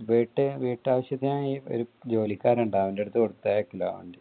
അത് വീട്ടാവശ്യത്തിനു ഒരു ജോലിക്കാരൻ ഉണ്ട് വണ്ടീ അവന്റെ അടുത്ത് കൊടുത്തയക്കൽ ആണ് വണ്ടി.